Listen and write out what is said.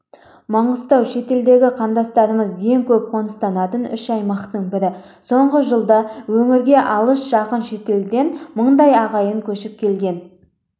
маңғыстау шетелдегі қандастарымыз ең көп қоныстанатын үш аймақтың бірі соңғы жылда өңірге алыс жақын шетелдерден мыңдай ағайын көшіп келген